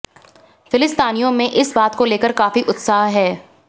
फिलिस्तीनियों में इस बात को लेकर काफी उत्साह है